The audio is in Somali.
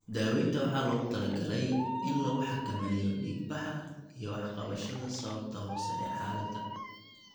Daaweynta waxaa loogu talagalay in lagu xakameeyo dhiigbaxa iyo wax ka qabashada sababta hoose ee xaaladda.